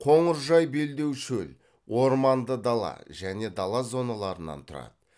қоңыржай белдеу шөл орманды дала және дала зоналарынан тұрады